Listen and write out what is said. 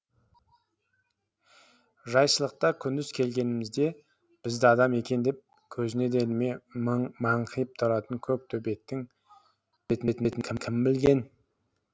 жайшылықта күндіз келгенімізде бізді адам екен деп көзіне де ілмей маңқиып тұратын көк төбеттің бүйтетінін кім білген